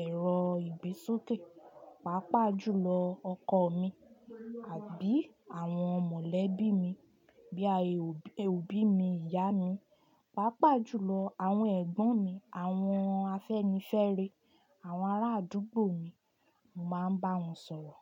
ẹ̀rọ ìgbésókè. Pápá jùlọ ọkọ mi àbí àwọn mọ̀lẹ́bí mi bíi ọbí mi, ìyá mi. Páapá jùlọ àwọn ẹ̀gbọ́n mi, àwọn afẹ́nifẹ́rẹ, àwọn ará àdúgbò mi, mo máa ń bá wọn sọ̀rọ̀